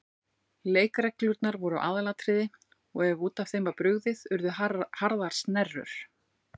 Leikreglurnar voru aðalatriði og ef út af þeim var brugðið urðu harðar snerrur.